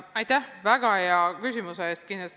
Aitäh väga hea küsimuse eest!